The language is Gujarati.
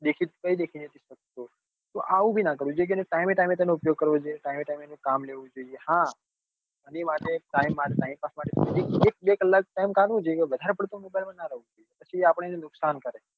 દેખી દેખ ને તો આવું નાં કરવું જોઈ time એ time એ તેનો ઉપયોગ કરવો time એ time એનું કામ લેવું જોઈએ હા એ માટે time pass માટે ની એક બે કલાક time કાઢવો જોઈએ વધારે પડતો mobile માં નાં રેવું જોઈએ પછી આપણને નુકસાન કરે.